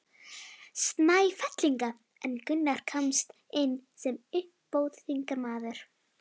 Snæfellinga en Gunnar komst inn sem uppbótarþingmaður.